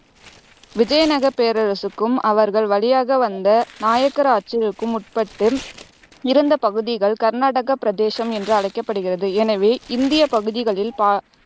விஜயநகரப் பேரரசுக்கும் அவர்கள் வழியாக வந்த நாயக்கர் ஆட்சிக்கும் உட்பட்டு இருந்த பகுதிகள் கர்நாடக பிரதேசம் என்று அழைக்கபடுகிறது. எனவே இந்தியப் பகுதிகளில் பா